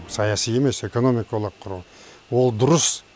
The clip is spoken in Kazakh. саяси емес экономикалық одақ құру ол дұрыс